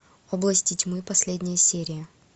области тьмы последняя серия